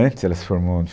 Antes ela se formou